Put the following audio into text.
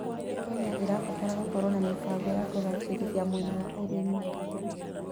Kenya ĩrabatara gũkorwo na mĩbango ya kũgacĩrithia mwena wa ũrĩmi.